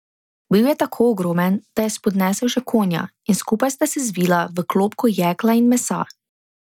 Bil je tako ogromen, da je spodnesel še konja in skupaj sta se zvila v klobko jekla in mesa.